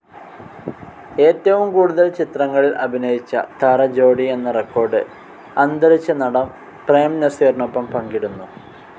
ഏറ്റവും കൂടുതൽ ചിത്രങ്ങളിൽ അഭിനയിച്ച താരജോഡി എന്ന റെക്കോർഡ്‌ അന്തരിച്ച നടൻ പ്രേം നസീറിനൊപ്പം പങ്കിടുന്നു.